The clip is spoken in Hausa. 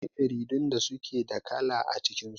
Akwai jaridun da suke da kala a cikin su.